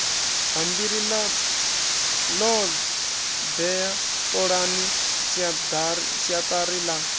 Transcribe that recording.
bammbiri ḽoḓhe ṱolani siaḓari ḽa